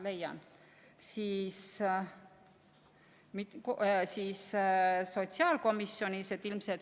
Jaa, leian.